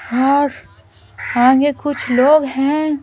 और आगे कुछ लोग हैं।